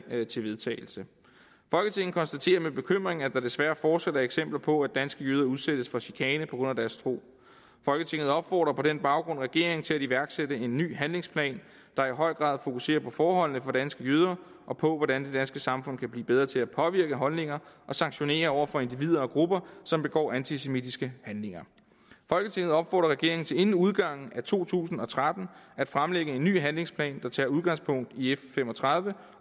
til vedtagelse folketinget konstaterer med bekymring at der desværre fortsat er eksempler på at danske jøder udsættes for chikane på grund af deres tro folketinget opfordrer på den baggrund regeringen til at iværksætte en ny handlingsplan der i høj grad fokuserer på forholdene for danske jøder og på hvordan det danske samfund kan blive bedre til at påvirke holdninger og sanktionere over for individer og grupper som begår antisemitiske handlinger folketinget opfordrer regeringen til inden udgangen af to tusind og tretten at fremlægge en ny handlingsplan der tager udgangspunkt i f fem og tredive